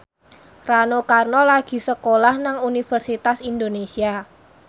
Rano Karno lagi sekolah nang Universitas Indonesia